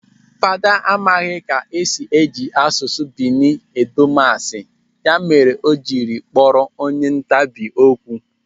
Fada amaghị ka esi eji asụsụ Bini edo masị, ya mere o jiri kpọrọ onye ntapi okwu.